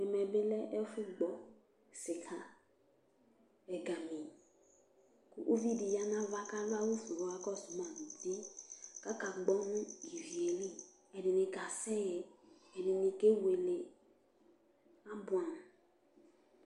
ɛmɛ bi lɛ ɛfu gbɔ sika ɛgami kò uvi di ya n'ava k'adu awu fue k'ɔka kɔsu ma no uti k'aka gbɔ no ivi yɛ li ɛdini ka sɛ ɛdini ke wele aboɛ amo